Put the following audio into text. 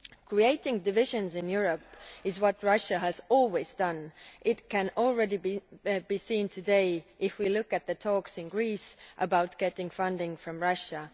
Creating divisions in Europe is what Russia has always done, and this can already be seen today if we look at the talks in Greece about getting funding from Russia.